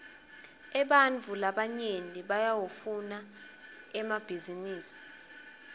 ebantfu labanyenti bayawafuna emabhninisi